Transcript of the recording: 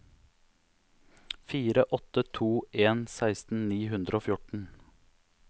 fire åtte to en seksten ni hundre og fjorten